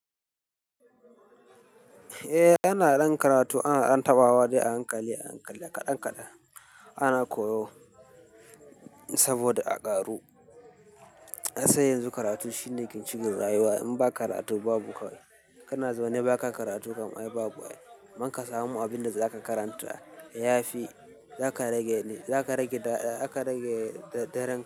Eh ana ɗan karatu, ana ɗan tabawa dai a hankali a hankali kaɗan kaɗan ana koyo saboda a ƙaru kasan yanzu karatu shine ginshiƙin rayuwa. In ba karatu babu kawai kana zaune ba ka karatu kam ai babu ai amman ka samu abinda zaka karanta ya fi za ka rage, za ka rage daɗa aka rage daren ka.